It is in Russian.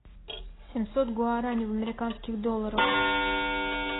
семьсот гуарани в американских долларах